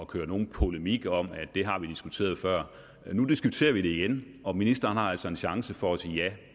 køre nogen polemik om at det har vi diskuteret før nu diskuterer vi det igen og ministeren har altså en chance for at sige ja